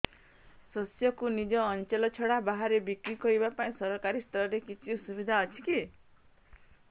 ଶସ୍ୟକୁ ନିଜ ଅଞ୍ଚଳ ଛଡା ବାହାରେ ବିକ୍ରି କରିବା ପାଇଁ ସରକାରୀ ସ୍ତରରେ କିଛି ସୁବିଧା ଅଛି କି